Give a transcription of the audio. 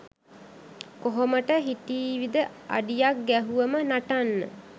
කොහොමට හිටීවිද අඩියක් ගැහුවම නටන්න